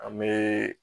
An bɛ